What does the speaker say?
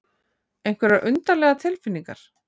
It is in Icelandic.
Einhverjar undarlegar tilfinningar.